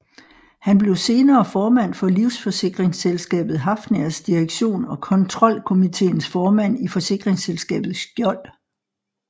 Han blev senere formand for livsforsikringsselskabet Hafnias direktion og kontrolkomiteens formand i forsikringsselskabet Skjold